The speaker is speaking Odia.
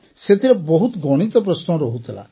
ସେଥିରେ ବହୁତ ଗଣିତ ପ୍ରଶ୍ନ ରହୁଥିଲା